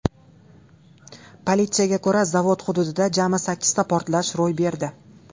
Politsiyaga ko‘ra, zavod hududida jami sakkizta portlash ro‘y berdi.